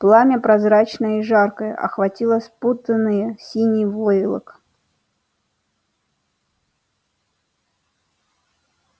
пламя прозрачное и жаркое охватило спутанный синий войлок